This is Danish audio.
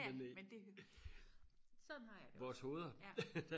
ja ja men det sådan har jeg det også ja